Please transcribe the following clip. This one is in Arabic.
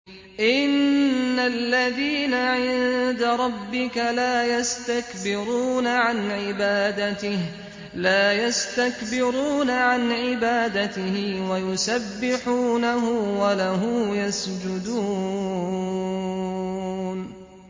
إِنَّ الَّذِينَ عِندَ رَبِّكَ لَا يَسْتَكْبِرُونَ عَنْ عِبَادَتِهِ وَيُسَبِّحُونَهُ وَلَهُ يَسْجُدُونَ ۩